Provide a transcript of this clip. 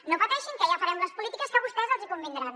no pateixin que ja farem les polítiques que a vostès els hi convindran